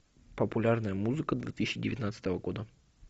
популярная музыка две тысячи девятнадцатого года